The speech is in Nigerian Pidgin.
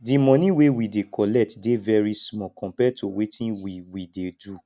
the money wey we dey collect dey very small compared to wetin we we dey do